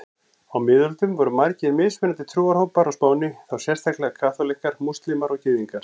Á miðöldum voru margir mismunandi trúarhópar á Spáni, þá sérstaklega kaþólikkar, múslímar og gyðingar.